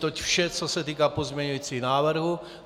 Toť vše, co se týká pozměňujících návrhů.